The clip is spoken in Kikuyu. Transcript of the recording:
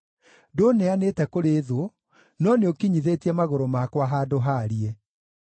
Ndũũneanĩte kũrĩ thũ, no nĩũkinyithĩtie magũrũ makwa handũ haariĩ.